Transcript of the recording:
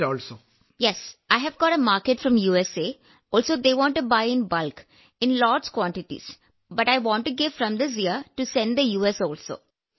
വിജയശാന്തി അതെ എനിക്ക് യുഎസ്എയിൽ നിന്ന് ഒരു മാർക്കറ്റ് ലഭിച്ചു അവർ മൊത്തമായി ധാരാളം അളവിൽ വാങ്ങാൻ ആഗ്രഹിക്കുന്നു പക്ഷേ യുഎസിലേക്കും അയയ്ക്കാൻ ഈ വർഷം മുതൽ നൽകാൻ ഞാൻ ആഗ്രഹിക്കുന്നു